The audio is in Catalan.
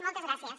moltes gràcies